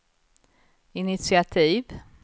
initiativ